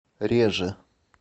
реже